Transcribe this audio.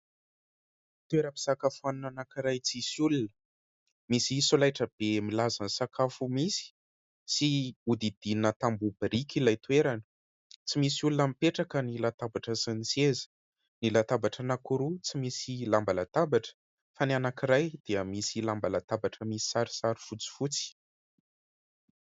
Toera-pisakafoanana iray tsisy olona. Misy solaitra be milaza sakafo misy; sy odidinina tamboho biriky ilay toerana; tsy misy olona mipetraka ny latabatra sy ny seza. Ny latabatra anankiroa, tsy misy lamba latabatra; fa ny anankiray, dia misy lamba latabatra, misy sarisary fotsifotsy.